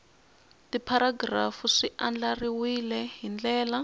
tipharagirafu swi andlariwile hi ndlela